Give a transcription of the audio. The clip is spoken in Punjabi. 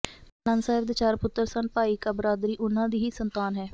ਬਾਬਾ ਨੰਦ ਸਾਹਿਬ ਦੇ ਚਾਰ ਪੁੱਤਰ ਸਨ ਭਾਈ ਕਾ ਬਰਾਦਰੀ ਉਨ੍ਹਾਂ ਦੀ ਹੀ ਸੰਤਾਨ ਹੈ